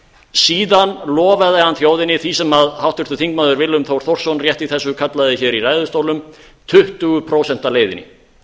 síðan lofaði hann þjóðinni því sem háttvirtur þingmaður willum þór þórsson rétt í þessu kallaði hér í ræðustólnum tuttugu prósent leiðinni